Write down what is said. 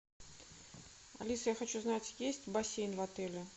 алиса я хочу знать есть бассейн в отеле